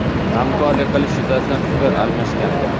hamkorlik qilish yuzasidan fikr almashgandi.